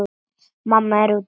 Mamma er úti.